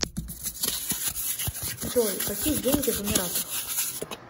джой какие деньги в эмиратах